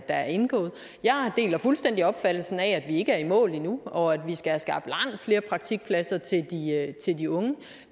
er indgået jeg deler fuldstændig opfattelsen af at vi ikke er i mål endnu og at vi skal have skabt langt flere praktikpladser til de unge